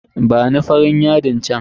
Bani farin yadin chan.